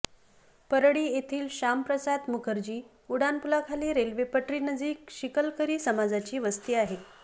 परळी येथील श्यामप्रसाद मुखर्जी उड्डाणपुलाखाली रेल्वे पटरी नजीक शिकलकरी समाजाची वस्ती आहे